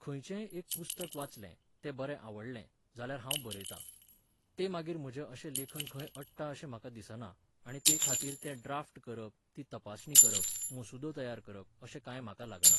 खंयचेय एक पुस्तक वाचलें, ते बरें आवडलें, जाल्यार हांव बरयतां. ते मागीर म्हजें अशें लेखन खंय अडटा अशें म्हाका दिसना आनी तेखातीर तें ड्राफ्ट करप, ती तपासणी करप, मसुदो तयार करप अशें कांय म्हाका लागना